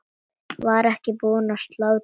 Var ekki búið að slátra?